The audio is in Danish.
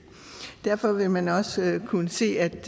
derfor vil man også kunne se at